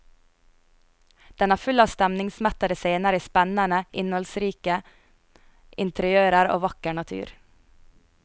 Den er full av stemningsmettede scener i spennende, innholdsrike interiører og vakker natur.